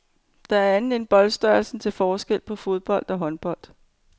Der er andet end boldstørrelsen til forskel på fodbold og håndbold.